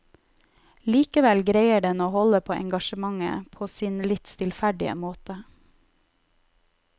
Likevel greier den å holde på engasjementet, på sin litt stillferdige måte.